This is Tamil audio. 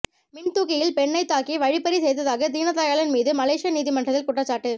மின்தூக்கியில் பெண்ணைத் தாக்கி வழிப்பறி செய்ததாக தீனதயாளன் மீது மலேசிய நீதிமன்றத்தில் குற்றச்சாட்டு